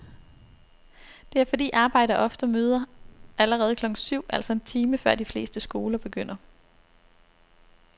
Det er fordi arbejdere ofte møder allerede klokken syv, altså en time før de fleste skoler begynder.